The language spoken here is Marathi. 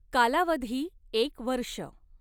कालावधी एक वर्ष